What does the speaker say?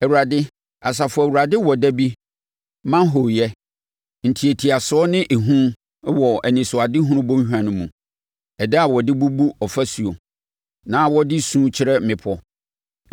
Awurade, Asafo Awurade wɔ da bi ma hooyɛ, ntiatiasoɔ ne ehu wɔ Anisoadehunu Bɔnhwa no mu; ɛda a wɔde bubu afasuo na wɔde su kyerɛ mmepɔ.